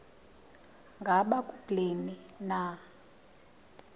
ngaba kubleni na